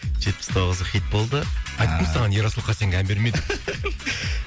жетпіс тоғызы хит болды айттым саған ерасыл хасенге ән берме деп